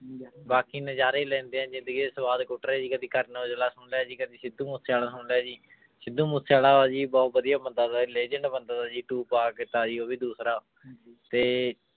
ਬਾਕੀ ਨਜ਼ਾਰੇ ਲੈਂਦੇ ਹਾਂ ਜ਼ਿੰਦਗੀ ਦੇ ਸਵਾਦ ਕੁੱਟ ਰਹੇ ਜੀ ਕਦੇ ਕਰਨ ਓਜਲਾ ਸੁਣ ਲਿਆ ਜੀ ਕਦੇ ਸਿੱਧੂ ਮੂਸੇਵਾਲਾ ਸੁਣ ਲਿਆ ਜੀ ਸਿੱਧੂ ਮੂਸੇਵਾਲਾ ਵਾ ਜੀ ਬਹੁਤ ਵਧੀਆ ਬੰਦਾ legend ਬੰਦਾ ਜੀ ਉਹ ਵੀ ਦੂਸਰਾ ਤੇ